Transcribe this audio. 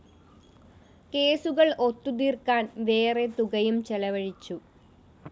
കേസുകള്‍ ഒത്തുതീര്‍ക്കാന്‍ വേറെ തുകയും ചെലവഴിച്ചു